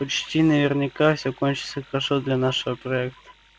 почти наверняка всё кончится хорошо для нашего проекта